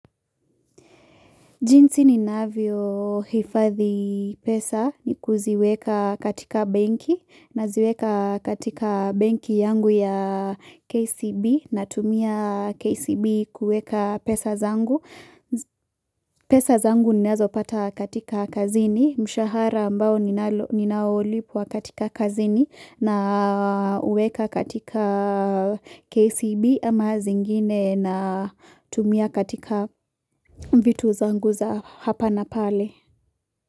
Jinsi ninavyohifadhi pesa ni kuziweka katika benki naziweka katika benki yangu ya KCB natumia KCB kuweka pesa zangu. Pesa zangu ninazopata katika kazini mshahara ambayo ninaolipwa katika kazini na uweka katika KCB ama zingine na tumia katika vitu zangu za hapa na pale.